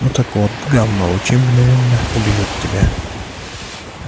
ну так вот гамма лучи мгновенно убьют тебя